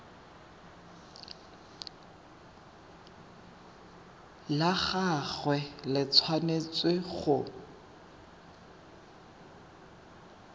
la gagwe le tshwanetse go